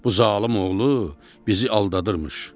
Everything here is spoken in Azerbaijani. Bu zalım oğlu bizi aldadırmış.